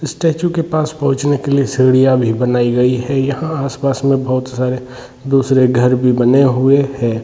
इस स्टेचू के पास पोहोचने के लिए सीढ़िया भी बनाई गई हैयहाँ आसपास में बोहोत सारे दुसरे घर भी बने हुए है।